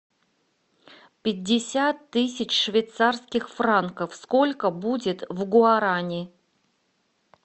пятьдесят тысяч швейцарских франков сколько будет в гуарани